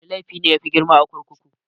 Wana laifi ne yafi grima a kurkuku?